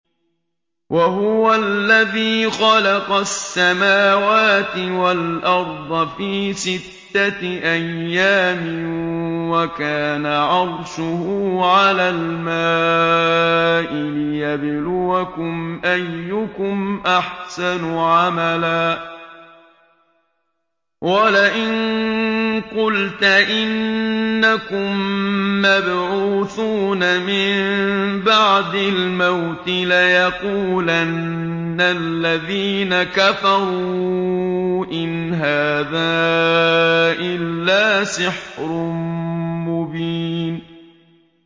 وَهُوَ الَّذِي خَلَقَ السَّمَاوَاتِ وَالْأَرْضَ فِي سِتَّةِ أَيَّامٍ وَكَانَ عَرْشُهُ عَلَى الْمَاءِ لِيَبْلُوَكُمْ أَيُّكُمْ أَحْسَنُ عَمَلًا ۗ وَلَئِن قُلْتَ إِنَّكُم مَّبْعُوثُونَ مِن بَعْدِ الْمَوْتِ لَيَقُولَنَّ الَّذِينَ كَفَرُوا إِنْ هَٰذَا إِلَّا سِحْرٌ مُّبِينٌ